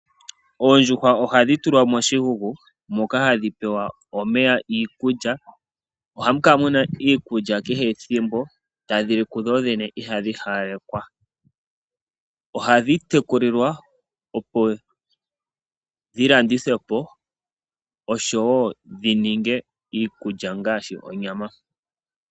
Oondjuhwa ohadhi tulwa moshikuku moka hadhi pewa omeya, iikulya. Ohamu kala muna iikulya kehe ethimbo tadhi li dho dhene ihadhi halekwa, ohadhi tekulilwa opo dhilandithwepo nenge dhi ninge iikulya ngaashi onyama.